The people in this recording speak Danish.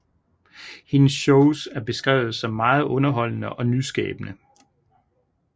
Hendes shows er beskrevet som meget underholdende og nyskabende